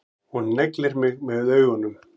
Og neglir mig með augunum.